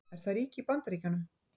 Er það ríki í Bandaríkjunum?